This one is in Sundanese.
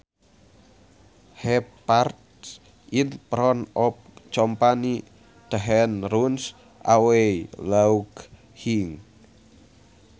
He farts in front of company then runs away laughing